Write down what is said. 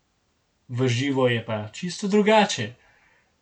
V živo je pa čisto drugače.